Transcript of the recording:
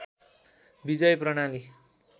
विजय प्रणाली